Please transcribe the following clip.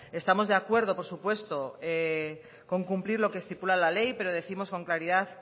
estamos de acuerdo por supuesto con cumplir lo que estipula la ley pero décimos con claridad